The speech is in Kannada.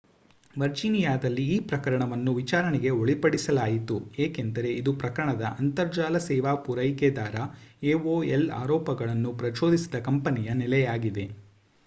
ವರ್ಜೀನಿಯಾದಲ್ಲಿ ಈ ಪ್ರಕರಣವನ್ನು ವಿಚಾರಣೆಗೆ ಒಳಪಡಿಸಲಾಯಿತು ಏಕೆಂದರೆ ಇದು ಪ್ರಮುಖ ಅಂತರ್ಜಾಲ ಸೇವಾ ಪೂರೈಕೆದಾರ aol ಆರೋಪಗಳನ್ನು ಪ್ರಚೋದಿಸಿದ ಕಂಪನಿಯ ನೆಲೆಯಾಗಿದೆ